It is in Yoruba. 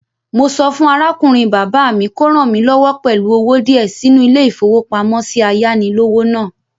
Mo sọ fún arákùnrin bàbá mi kò ràn mí lọ́wọ́ pẹ̀lú owó díẹ̀ sínú ilé-ìfowópamósí ayánilówó náà